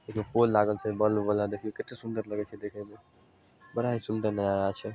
ये जो पोल लागल छे बल्ब वाला देखीं केते सुन्दर लगई छई देखे में बड़ा ही सुंदर नजारा छे।